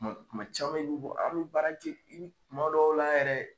Tuma tuma caman i bɛ bɔ a bɛ baara kɛ tuma dɔw la yɛrɛ